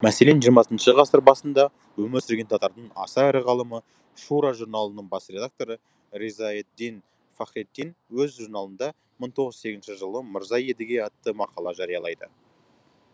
мәселен жиырмасыншы ғасыр басында өмір сүрген татардың аса ірі ғалымы шура журналының бас редакторы ризаэтдин фахретдин өз журналында мың тоғыз жүз сегізінші жылы мырза едіге атты мақала жариялайды